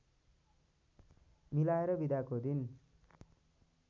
मिलाएर बिदाको दिन